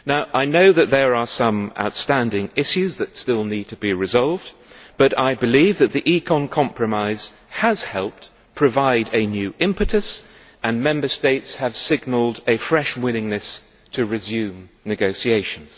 I know that there are some outstanding issues that still need to be resolved, but I believe that the ECON compromise has helped provide a new impetus and Member States have signalled a fresh willingness to resume negotiations.